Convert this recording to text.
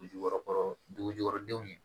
Dugu jukɔrɔ dugu jukɔrɔ denw ye